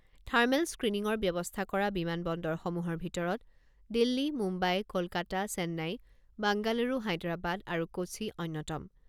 Thermal স্ক্ৰিনিঙৰ ব্যৱস্থা কৰা বিমান বন্দৰসমূহৰ ভিতৰত দিল্লী, মুম্বাই, কলকাতা, চেন্নাই, বাংগালুৰু, হায়দৰাবাদ আৰু কোচি অন্যতম।